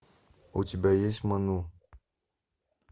у тебя есть ману